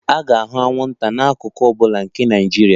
A ga-ahụ anwụnta n'akụkụ ọ bụla nke Naijiria